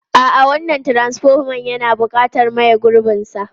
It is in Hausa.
A'a, wannan transfoman yana buƙatar maye gurbinsa.